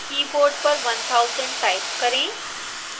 keyboard पर 1000 type करें